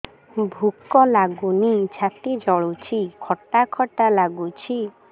ଭୁକ ଲାଗୁନି ଛାତି ଜଳୁଛି ଖଟା ଖଟା ଲାଗୁଛି